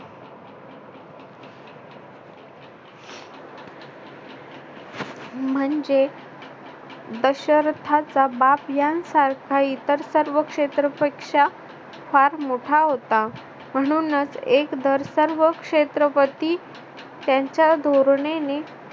म्हणजे दशरथाचा बाप यांसारखा इतर सर्व शेत्रफळ पेक्षा फार मोठा होता म्हणूनच एक दर सर्व क्षेत्रपती त्यांच्या धोरणेने